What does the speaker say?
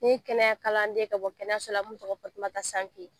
Ne ye kɛnɛya kalanden ka bɔ kɛnɛyakalanso la n'o tɔgɔ Fatumata Sanke